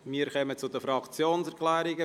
Wir kommen zu den Fraktionserklärungen.